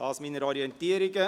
Dies meine Orientierungen.